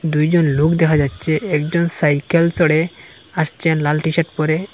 দুইজন লোক দেখা যাচ্ছে একজন সাইকেল চড়ে আসছেন লাল টি-শার্ট পরে।